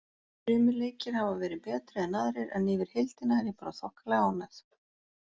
Sumir leikir hafa verið betri en aðrir en yfir heildina er ég bara þokkalega ánægð.